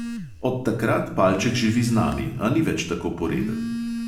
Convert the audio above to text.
Od takrat palček živi z nami, a ni več tako poreden.